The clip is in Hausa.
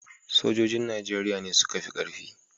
Sojojin Najeriya ne suka fi ƙarfi